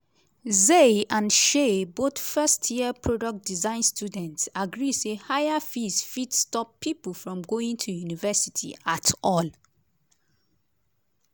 zay and shay both first year product design students agree say higher fees fit stop pipo from going to university at all.